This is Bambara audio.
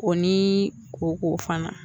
O ni koko fana.